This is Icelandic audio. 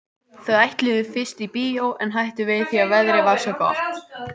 Þau ætluðu fyrst í bíó en hættu við það því að veðrið var svo gott.